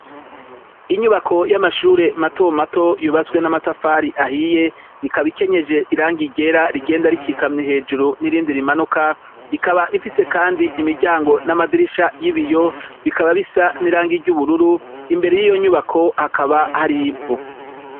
Inyubako y'amashure matomato yubatswe n'amatafari ahiye ikaba ikenyeje irangi ryera rigenda rikikamye hejuru n'irindi rimanuka. Ikaba ifise kandi imiryago n'amadirisha y'biyo bikaba bisa n'irangi ry'ubururu. Imbere y'iyo nyubako hakaba hari ivu.